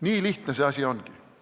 Nii lihtne see asi ongi.